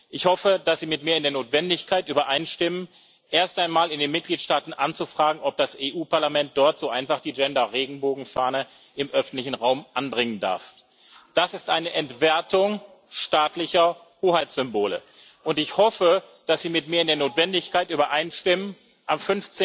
Ich hoffe, dass Sie mit mir in der Notwendigkeit übereinstimmen, erst einmal in den Mitgliedstaaten anzufragen, ob das Europäische Parlament dort so einfach die Gender-Regenbogen-Fahne im öffentlichen Raum anbringen darf. Das ist eine Entwertung staatlicher Hoheitssymbole. Und ich hoffe, dass Sie mir in der Notwendigkeit übereinstimmen, am